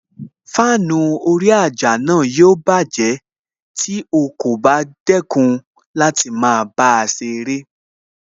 Fáànù orí àjà náà yóò bájẹ̀ tí o kò bá dẹ́kun láti máa bá a ṣeré